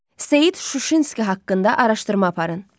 Seyid Şuşinski haqqında araşdırma aparın.